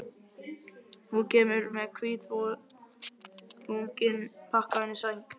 Hún kemur með hvítvoðunginn pakkaðan inn í sæng.